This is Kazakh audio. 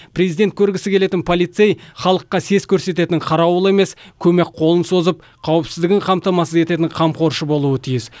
президент көргісі келетін полицей халыққа сес көрсететін қарауыл емес көмек қолын созып қауіпсіздігін қамтамасыз ететін қамқоршы болуы тиіс